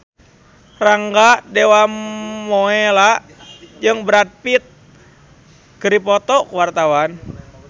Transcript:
Rangga Dewamoela jeung Brad Pitt keur dipoto ku wartawan